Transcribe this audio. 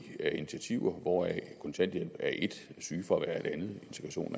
af initiativer hvoraf kontanthjælp er et sygefravær et andet